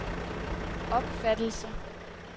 opfattelse